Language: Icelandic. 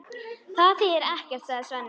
Það þýðir ekkert, sagði Svenni.